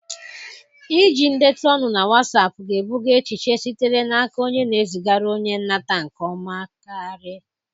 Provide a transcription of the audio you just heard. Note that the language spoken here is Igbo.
Iji ndetu olu na Wassapụ ga-ebuga echiche sitere n'aka onye na-ezigara onye nnata nke ọma karị.